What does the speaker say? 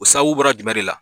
O sababu bɔra jumɛn de la